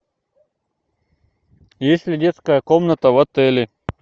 есть ли детская комната в отеле